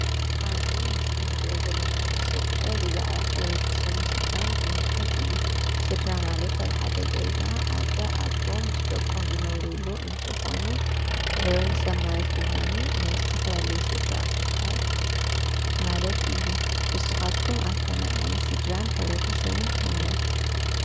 እብዚ ምስሊ ንሪኦ ዘለና ርእሰ ጉዳይ ብዛዕባ ሕብረተሰብን ስድራን ዝምልከት እዩ ።ስድራ ማለት አብ ሓደ ገዛ አደ ፣አቦ ምስ ደቆም ዝነብርሉ እንትኾኑ ሕበረተሰብ ማለት ድማኒ ናይ ዝተፈላለየ ስድራ እካብ ማለት እዩ ።ንስኻትኩም ኣብ ከመይ ዓይነት ስድራን ሕብረተሰብን ትነብሩ ?